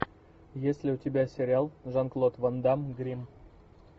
есть ли у тебя сериал жан клод ван дамм гримм